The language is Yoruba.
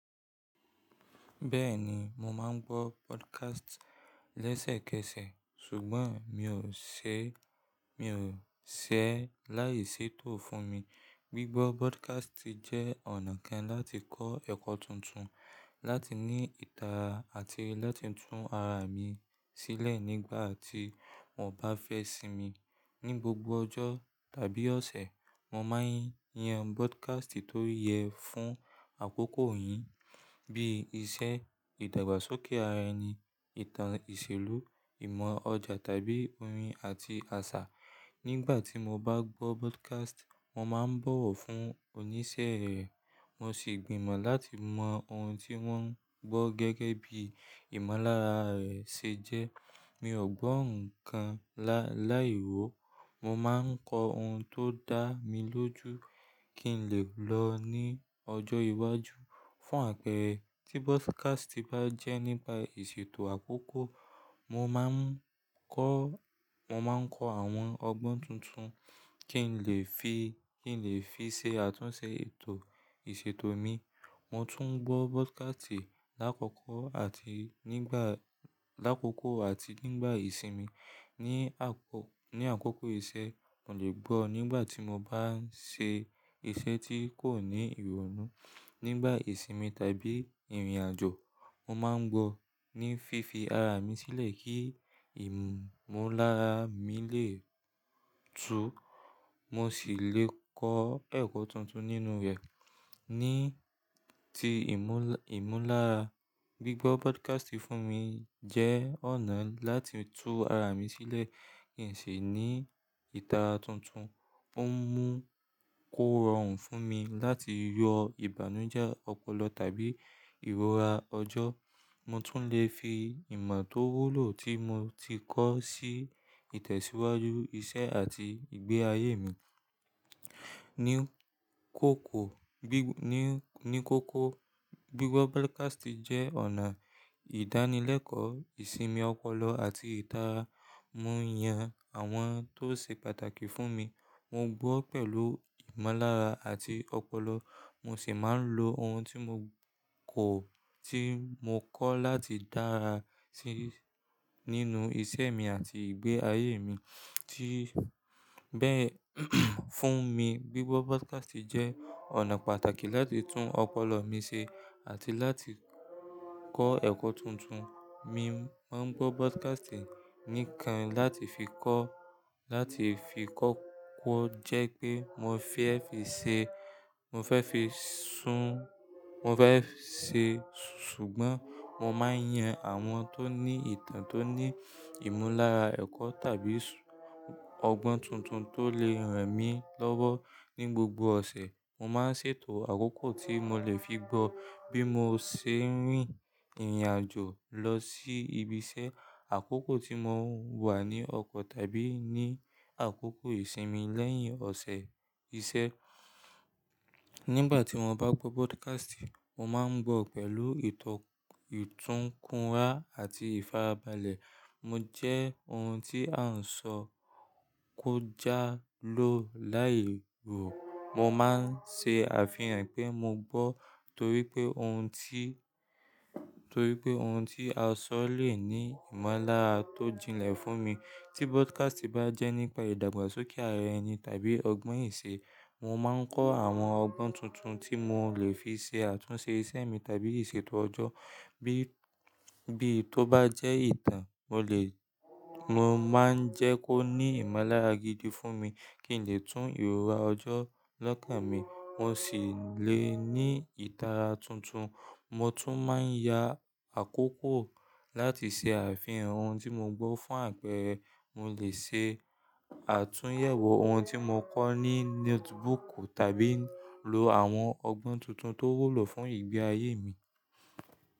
Bẹ́ẹ̀ni, mo máa ń gbọ́ podcast lẹ́sẹ̀kẹsẹ̀, ṣùgbọ́n miò ṣe mio sé láìsètò fún mi. Gbigbọ́ podcast jẹ́ ọ̀nà kan láti kọ́ ẹ̀kọ́ tuntun, láti ní ìtara àti láti tún ara mi sílẹ̀ nígbà tí mon bá fẹ́ sinmi. Ni gbogbo ọjọ́ tàbí ọ̀sẹ̀, mo máa ń yan podcast tó yẹ fún àkókò yìí bíi iṣẹ́, ìdàgbàsókè ara ẹni, ìtàn ìṣèlú, ìmọ̀ ọjà tàbí orin àti àṣà. Nígbà tí mo bá gbọ́ podcast, mo máa ń bọ̀wọ̀ fún oníṣẹ́ rẹ̀, mo sì gbìmọ̀ láti mọ ohun tí wọ́n ngbọ́ gẹ́gẹ́ bí ìmúlára rẹ̀ ṣe jẹ́. Mi ò gbọ́ ǹkan láì wò, mo máa ń kọ ohun tó dá mi lójú kí n lè lọ ní ọjọ́ iwájú. Fún àpẹẹrẹ, tí podcast bá jẹ́ nípa ìṣètò àkókò, mo ma n mo máa ńkọ àwọn ọgbọ́n tuntun kí n lè fi ṣe àtúnṣe ètò ìṣètò mi. Mo tún ngbọ́ podcast lákòókò àti nígbà ìsinmi. Ni ákòókò iṣẹ́, mo lè gbọ́ nígbà tí mo bá ń ṣe iṣẹ́ tí kò ní ìrònú. Nígbà ìsinmi tàbí ìrìnàjò, mo máa ń gbọ́ ní fífi ara mi sílẹ̀ kí ìmúlára mi lè tú, mo sì lè kọ́ ẹ̀kọ́ tuntun nínú rẹ̀. Ní ti ìmúlára, gbígbọ́ podcast fún mi jẹ́ ọ̀nà láti tú ara mi sílẹ̀ kíǹ sí ní ìtara tuntun. Ó ń mú kó rọrùn fún mi láti yọ ìbànújẹ́ ọpọlọ tàbí ìrora ọjọ́. Mo tún lè fi ìmọ̀ tó wúlò tí mo ti kọ́ sí ìtẹ̀síwájú iṣẹ́ àti ìgbé ayé mi. Ní kókó, gbígbọ́ podcast jẹ́ ọ̀nà ìdánilẹ́kọ̀ọ́ ìsinmi ọpọlọ àti ìtara. Mo yan àwọn tó ṣe pàtàkì fún mi. Mo gbọ́ pẹ̀lú ìmolára àti ọpọlọ, mo sì máa ń lo ohun tí mo kọ́ láti dára sí nínú iṣẹ́ mi àti ìgbé ayé mi. Fún mi, gbígbọ́ podcast jẹ́ ọ̀nà pàtàkì láti tún ọpọlọ mi ṣe àti láti kọ́ ẹ̀kọ́ tuntun. Mi máa ń gbọ́ podcast níkan láti fi kó, kọ́kọ́ jẹ́ pé mo fẹ́ fi ṣe, ṣùgbọ́n mo máa ń yan àwọn tó ní ìtàn tó ní ìmúlára ẹ̀kọ́ tàbí ọgbọ́n tuntun tó lè ràn mí lọ́wọ́. Ni gbogbo ọ̀sẹ̀, mo máa ń ṣètò àkókò tí mo lè fi gbọ́ bí mo ṣe ń rìn ìrìnàjò lọ sí ibi iṣẹ́, àkókò tí mo nwà ní ọkọ̀ tàbí ní àkókò ìsinmi lẹ́yìn ọ̀sẹ̀ iṣẹ́. Nígbà tí mo bá gbọ́ podcast, mo máa ń gbọ́ pẹ̀lú ìtọ́ ìtúnkùra àti ìfarabalẹ̀. Mo jẹ́ ohun tí a ń sọ kó já ló láì wò. Mo máa ń ṣe àfihàn pé mo gbọ́ torí pé ohun tí a sọ lè ní ìmúlára tó jínlẹ̀ fún mi. Tí podcast bá jẹ́ nípa ìdàgbàsókè ara ẹni tàbí ọgbọ́n ìṣe, mo máa ń kọ́ àwọn ọgbọ́n tuntun tí mo lè fi ṣe àtúnṣe ìṣe mi tàbí ìṣètò ọjọ́. Bí i tó bá jẹ́ ìtàn mo le, mo máa ń jẹ́ kó ní ìmúlára gidi fún mi kí n lè tún ìrora ọjọ́ lọ́kàn mi, mo sì lè ní ìtara tuntun. Mo tún máa ń ya àkókò láti ṣe àfihàn ohun tí mo gbọ́ fún àpẹẹrẹ mo lè ṣe àtúnyẹ̀wò ohun tí mo kọ́ ní notebook tàbí lo àwọn ọgbọ́n tuntun tó wúlò fún ìgbé ayé mi.